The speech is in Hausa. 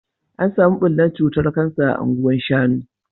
, an samu bullar cutar Kansa a Anguwa shanu